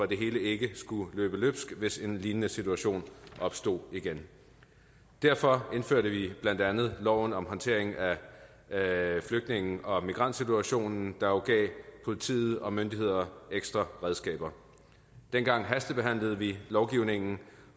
det hele ikke skulle løbe løbsk hvis en lignende situation opstod igen derfor vedtog vi blandt andet loven om håndteringen af flygtninge og migrantsituationen der jo gav politiet og myndighederne ekstra redskaber dengang hastebehandlede vi lovgivningen